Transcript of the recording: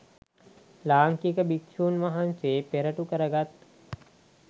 ලාංකික භික්ෂූන් වහන්සේ පෙරටු කරගත්